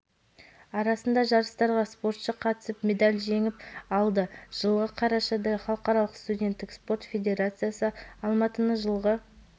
дүниежүзілік қысқы универсиаданы қабылдайтын қала деп жариялады қазақстан елдерінің ішінде ең алғашқы болып қысқы универсиада